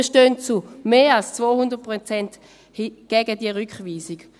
Wir stellen uns zu mehr als 200 Prozent gegen diese Rückweisung.